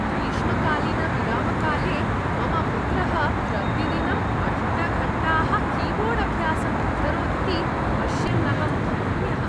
ग्रीष्मकालीन-विरामकाले मम पुत्रः प्रतिदिनं अष्ट घण्टाः कीबोर्ड् अभ्यासम् अकरोदिति पश्यन् अहं धन्यः।